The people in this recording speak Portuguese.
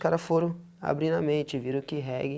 Os cara foram abrindo a mente, viram que reggae.